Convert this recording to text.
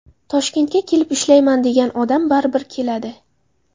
Toshkentga kelib ishlayman degan odam baribir keladi.